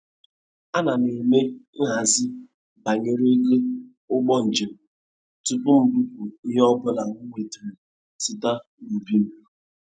Ana m eme.nhazi banyere ego ụgbọ njem tupu m bupụ ihe ọbụla m nwetara site n'ubi m.